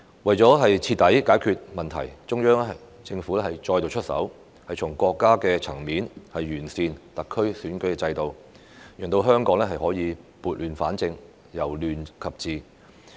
為徹底解決問題，中央政府再度出手，從國家層面完善特區選舉制度，讓香港可以撥亂反正、由亂及治。